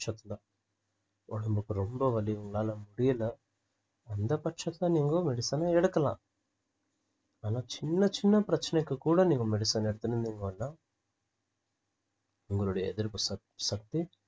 உடம்புக்கு ரொம்ப வலி உங்களால முடியல அந்த பட்சத்துல நீங்க medicine அ எடுக்கலாம் ஆனா சின்ன சின்ன பிரச்சனைக்கு கூட நீங்க medicine எடுத்துருந்திங்கனா உங்களுடைய எதிர்ப்புசக்~ சக்தி